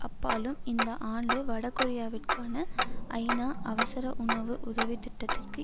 அப்பாலும் இந்த ஆண்டு வடகொரியாவிற்கான ஐநா அவசர உணவு உதவி திட்டத்திற்கு